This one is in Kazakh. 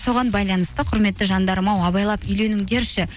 соған байланысты құрметті жандарым ау абайлап үйлеңіңдерші